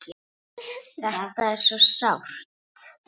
Þetta er svo sárt.